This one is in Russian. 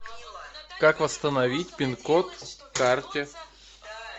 как восстановить пин код к карте